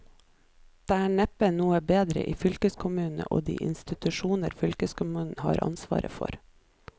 Det er neppe noe bedre i fylkeskommunene og de institusjoner fylkeskommunen har ansvaret for.